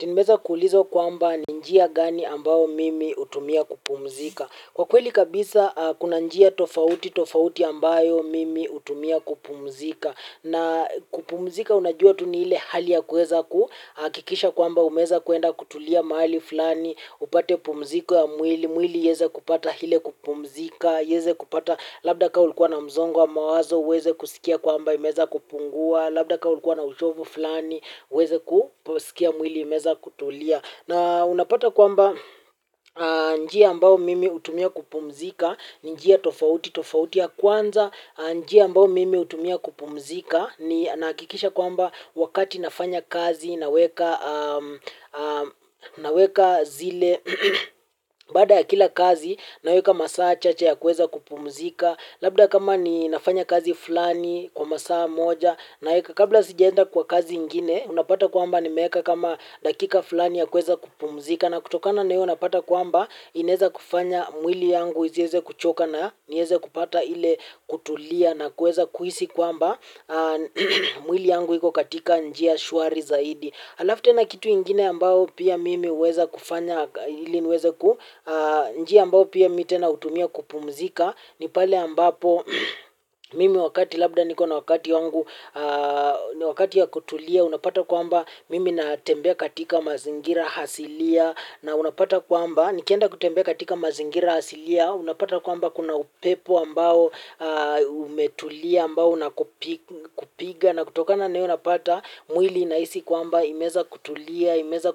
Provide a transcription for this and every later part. Nimeweza kuulizwa kwamba ninjia gani ambayo mimi hutumia kupumzika. Kwa kweli kabisa kuna njia tofauti tofauti ambayo mimi hutumia kupumzika. Na kupumzika unajua tuni ile hali ya kuweza kuhakikisha kwamba umeweza kuenda kutulia mahali fulani, upate pumziko ya mwili, mwili ieze kupata ile kupumzika, ieze kupata labda ka ulikuwa na mzongo wa mawazo, uweze kusikia kwamba imeza kupungua, labda kama ulikuwa na uchovu fulani uweze kuposikia mwili umeweza kutulia. Na unapata kwamba njia ambayo mimi hutumia kupumzika ni njia tofauti tofauti ya kwanza. Njia ambao mimi hutumia kupumzika ni nahakikisha kwamba wakati nafanya kazi naweka zile baada ya kila kazi naweka masaa chache ya kuweza kupumzika. Labda kama ni nafanya kazi fulani kwa masaa moja. Na kabla sijaenda kwa kazi ingine unapata kwamba ni meweka kama dakika fulani ya kuweza kupumzika. Na kutokana na hiyo napata kwamba ineza kufanya mwili yangu isieze kuchoka na nieze kupata ile kutulia. Na kuweza kuhisi kwamba mwili yanguhiko katika njia shwari zaidi. Alafu tena kitu ingine ambao pia mimi huweza kufanya ili niweze ku njia ambao pia mimi tena hutumia kupumzika ni pale ambapo mimi wakati labda niko na wakati wangu ni wakati ya kutulia unapata kwamba mimi na tembea katika mazingira asilia. Na unapata kwamba nikienda kutembea katika mazingira asilia. Unapata kwamba kuna upepo ambao umetulia ambao unakupiga. Na kutokana na iyo unapata mwili inahisi kwamba imeza kutulia. Imeza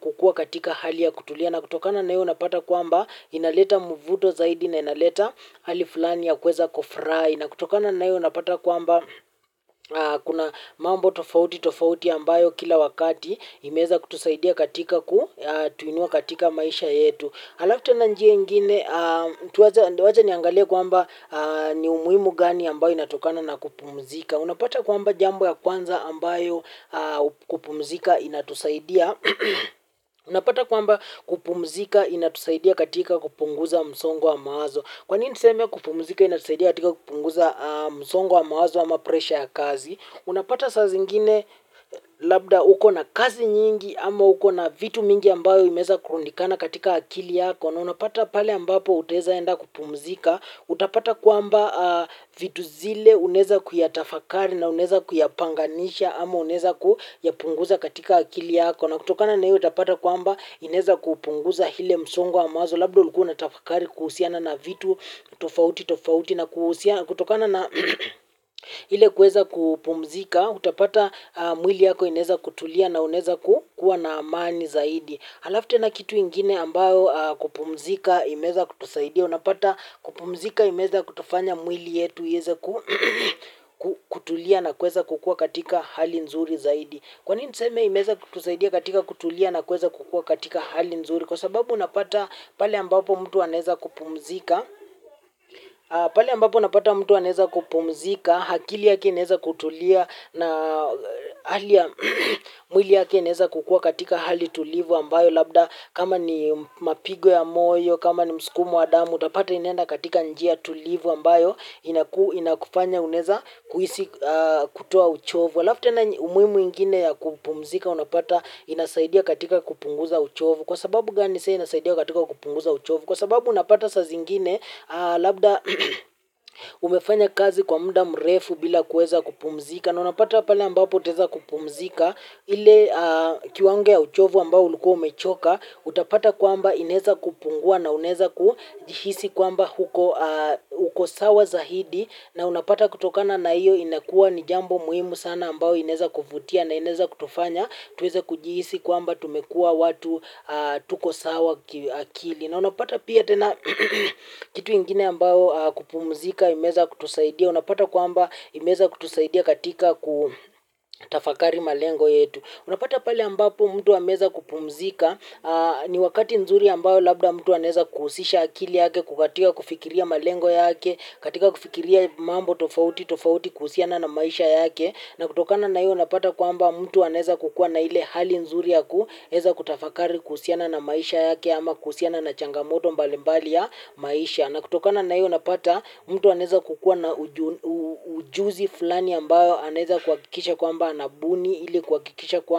kukua katika hali ya kutulia na kutokana naio unapata kwamba inaleta muvuto zaidi na inaleta hali fulani ya kuweza kufurahi na kutokana naio unapata kwamba kuna mambo tofauti tofauti ambayo kila wakati imeza kutusaidia katika ku tuinua katika maisha yetu halafu tena njia ingine tuwaja niangalia kwamba ni umuhimu gani ambayo inatokana na kupumzika unapata kwamba jambo ya kwanza ambayo kupumzika inatusaidia. Unapata kwamba kupumzika inatusaidia katika kupunguza msongo wa mawazo. Kwanini niseme kupumzika inatusaidia katika kupunguza msongo wa mawazo ama presha ya kazi. Unapata saa zingine labda uko na kazi nyingi ama uko na vitu mingi ambayo imeza kurundikana katika akili yako. Na unapata pale ambapo utezaenda kupumzika. Utapata kwamba vitu zile uneza kuyatafakari na uneza kuyapanganisha ama uneza kuyapunguza katika akili yako na kutokana na hiyo utapata kwamba ineza kupunguza ile msongo wa mawazo labdo ulikuwa na tafakari kuhusiana na vitu, tofauti, tofauti na kutokana na ile kueza kupumzika, utapata mwili yako ineza kutulia na uneza kuwa na amani zaidi. Halafu tena kitu ingine ambayo kupumzika imeza kutusaidia, unapata kupumzika imeza kutufanya mwili yetu ieze kutulia na kueza kukua katika hali nzuri zaidi. Kwanini nseme imeza kutusaidia katika kutulia na kuweza kukua katika hali nzuri kwa sababu unapata pale ambapo mtu anaeza kupumzika, akili yake inaeza kutulia na mwili yake ineza kukua katika hali tulivu ambayo labda kama ni mapigo ya moyo, kama ni msukumo wa damu, utapata inenda katika njia tulivu ambayo inakufanya uneza kutoa uchovu. Halafu tena umuhimu ingine ya kupumzika, unapata inasaidia katika kupunguza uchovu. Kwa sababu gani saa inasaidia katika kupunguza uchovu? Kwa sababu unapata saa zingine, labda umefanya kazi kwa muda mrefu bila kueza kupumzika. Na unapata pale ambapo utaeza kupumzika, ili kiwango ya uchovu ambao ulikuwa umechoka, utapata kwamba inaeza kupungua na unaeza kuhisi kwamba uko sawa zaidi. Na unapata kutokana na iyo inakuwa ni jambo muhimu sana ambao inaeza kuvutia na inaeza kutufanya tuweze kujihisi kwamba tumekuwa watu tuko sawa kiakili na unapata pia tena kitu ingine ambao kupumzika imeza kutusaidia unapata kwamba imeza kutusaidia katika kutafakari malengo yetu unapata pale ambapo mtu ameweza kupumzika ni wakati nzuri ambao labda mtu aneza kuhusisha akili yake kukatika kufikiria malengo yake katika kufikiria mambo tofauti, tofauti kuhusiana na maisha yake na kutokana na iyo unapata kwamba mtu aneza kukuwa na ile hali nzuri yaku eza kutafakari kuhusiana na maisha yake ama kuhusiana na changamoto mbali mbali ya maisha na kutokana na iyo unapata mtu aneza kukua na ujuzi fulani ambayo aneza kuhakikisha kwa mba anabuni ili kuhakikisha kuwa.